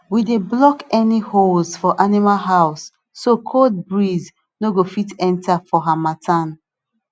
we dey block any holes for animal house so cold breeze no go fit enter for harmattan